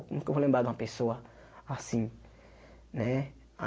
Nunca vou lembrar de uma pessoa assim nè?